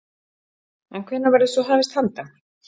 En hvenær verður svo hafist handa?